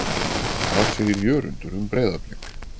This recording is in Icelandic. Hvað segir Jörundur um Breiðablik?